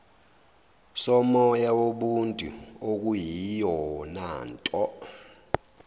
somoya wobuntu okuyiyonanto